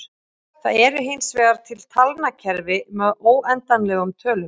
Það eru hinsvegar til talnakerfi með óendanlegum tölum.